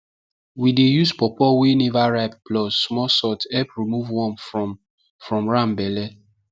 we dey use pawpaw wey never ripe plus small salt help remove worm from from ram belle